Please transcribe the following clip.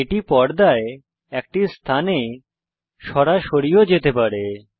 এটি পর্দায় একটি স্থানে সরাসরি ও যেতে পারে